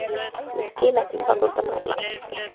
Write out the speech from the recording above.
Ég skil ekki hvað þú ert að pæla